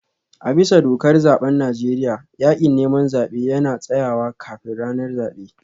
A bisa dokar zaben Najeriya, yakin neman zabe yana tsayawa kafin ranar zabe